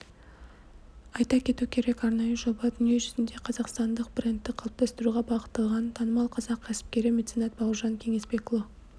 айта кету керек арнайы жоба дүниежүзінде қазақстандық брэндті қалыптастыруға бағытталған танымал қазақ кәсіпкері меценат бауыржан кеңесбекұлы